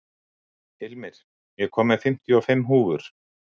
Hilmir, ég kom með fimmtíu og fimm húfur!